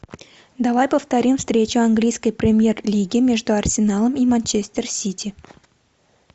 давай повторим встречу английской премьер лиги между арсеналом и манчестер сити